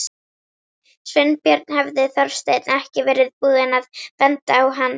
Sveinbjörn hefði Þorsteinn ekki verið búinn að benda á hann.